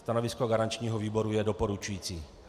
Stanovisko garančního výboru je doporučující.